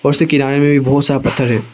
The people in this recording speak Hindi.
और उसके किनारे में भी बहुत सारा पत्थर है।